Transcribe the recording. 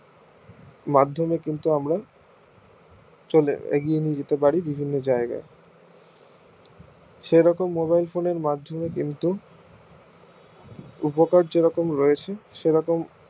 মাধ্যমে কিন্তু আমরা এগিয়ে নিয়ে যেতে পারি বিভিন্ন জায়গা সেরকম mobile phone এর মাধ্যমে কিন্তু উপকার যেরকম রয়েছে সেরকম